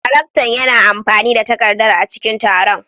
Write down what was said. Daraktan yana amfani da takardar a cikin taron.